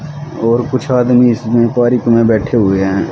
और कुछ आदमी इस इंक्वायरी के में बैठे हुए हैं।